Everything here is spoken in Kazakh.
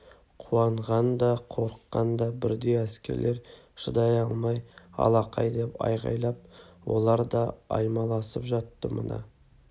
қуанған да қорыққан да бірдей әскерлер шыдай алмай алақай деп айқайлап олар да аймаласып жатты мына